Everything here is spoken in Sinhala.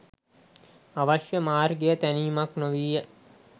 අවශ්‍ය මාර්ගය තැනීමක් නොවීය